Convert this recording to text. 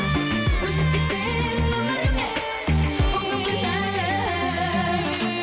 өшіп кетсең өмірімнен ол күн кінәлі